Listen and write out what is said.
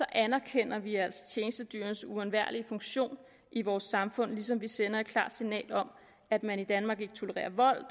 anerkender vi altså tjenestedyrenes uundværlige funktion i vores samfund ligesom vi sender et klart signal om at man i danmark ikke tolererer vold